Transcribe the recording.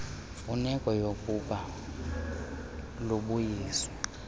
mfuneko yookuba lubuyiswe